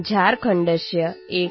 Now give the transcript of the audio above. शृण्वन्तु रेडियोयुनिटीनवतिएफ्